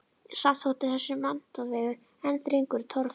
Samt þótti þessi menntavegur enn þröngur og torfarinn.